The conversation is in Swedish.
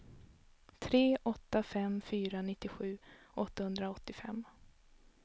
tre åtta fem fyra nittiosju åttahundraåttiofem